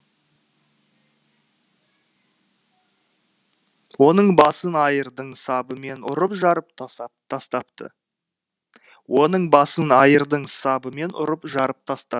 оның басын айырдың сабымен ұрып жарып тастапты оның басын айырдың сабымен ұрып жарып